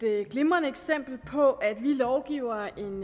er jo et glimrende eksempel på at vi lovgivere en